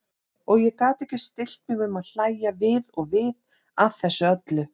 Og ég gat ekki stillt mig um að hlægja við og við að þessu öllu.